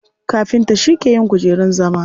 Kafinta shi ke yin kujerun zama.